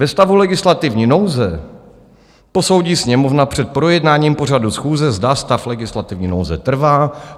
Ve stavu legislativní nouze posoudí Sněmovna před projednáním pořadu schůze, zda stav legislativní nouze trvá.